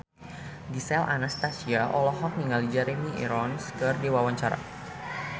Gisel Anastasia olohok ningali Jeremy Irons keur diwawancara